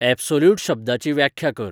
absolute शब्दाची व्याख्या कर